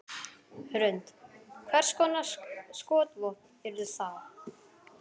Hrund: Hvers konar skotvopn yrðu það?